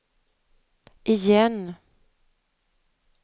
igen